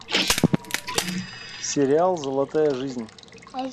сериал золотая жизнь